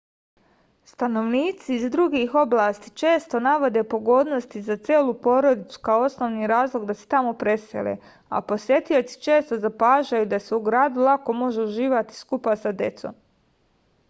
stanovnici iz drugih oblasti često navode pogodnosti za celu porodicu kao osnovni razlog da se tamo presele a posetioci često zapažaju da se u gradu lako može uživati skupa sa decom